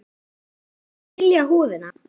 Best er að hylja húðina.